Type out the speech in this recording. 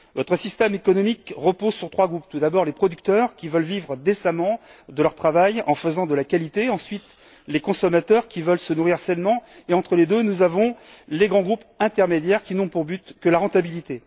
Votre système économique repose sur trois groupes tout d'abord, les producteurs, qui veulent vivre décemment de leur travail en faisant de la qualité, ensuite, les consommateurs, qui veulent se nourrir sainement et, entre les deux, les grands groupes intermédiaires, qui n'ont pour but que la rentabilité.